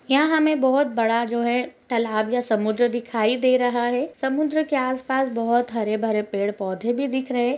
यहा हमें बहुत बड़ा जो है तालाब या समुद्र दिखाई दे रहा है| समुद्र के आस पास बहुत सारे हरे भरे पेड़ पोधे भी दिखे रहे है।